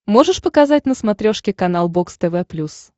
можешь показать на смотрешке канал бокс тв плюс